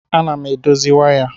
Ana m edozi waya.